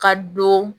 Ka don